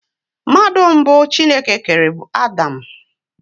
Mmadụ mbụ Chineke kere bụ Adam.